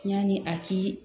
Yanni a ti